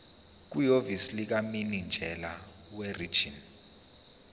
kwihhovisi likamininjela werijini